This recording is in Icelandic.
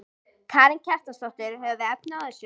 Karen Kjartansdóttir: Höfum við efni á þessu?